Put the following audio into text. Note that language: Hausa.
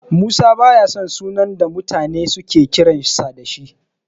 Musa baya son sunan da mutane suke kiransa da shi.